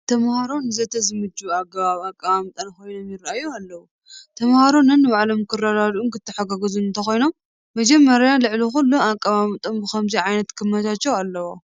ተመሃሮ ንዘተ ብዝምቸው ኣግባብ ኣቐማምጣ ኮይኖም ይርአዩ ኣለዉ፡፡ ተመሃሮ ነንባዕሎም ክረዳድኡን ክተሓጋገዙን እንተኾይኖም መጀመርያን ልዕሊ ኹሉን ኣቀማምጥኦም ብኸምዚ ዓይነት ክመቻቸዉ ኣለዎ፡፡